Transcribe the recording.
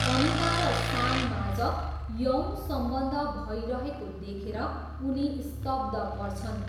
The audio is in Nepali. अनिता र साममाझ यौन सम्बन्ध भइरहेको देखेर उनी स्तब्ध पर्छन्।